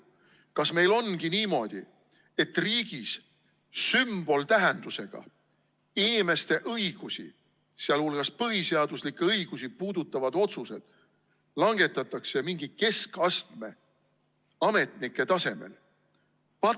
Kas meil ongi niimoodi, et inimeste õigusi, sh põhiseaduslikke õigusi puudutavad sümboltähendusega otsused langetatakse riigis mingite keskastme ametnike tasemel?